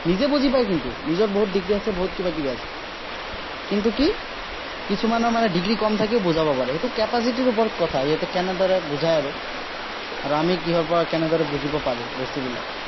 নিজে বুজি পাই কিন্তু। নিজৰ বহুত degree আছে, বহুত কিবা-কিবি আছে। কিন্তু কি, কিছুমানৰ মানে degree কম থাকিও বুজাব পাৰে, সেইটো capacity ৰ ওপৰত কথা। সিহঁতে কেনেদৰে বুজায় আৰু। আৰু আমি কিহৰপৰা কেনেদৰে বুজিব পাৰো বস্তুবিলাক।